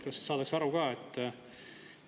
Kas saadakse aru ka?